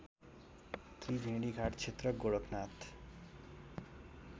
त्रिवेणीघाट क्षेत्र गोरखानाथ